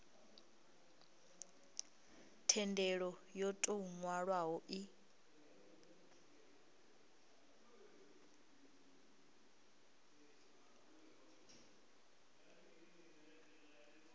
thendelo yo tou nwalwaho i